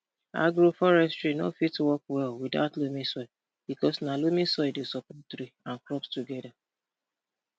agroforestry nor fit work well without loamy soil because na loamy soil dey support tree and crops together